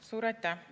Suur aitäh!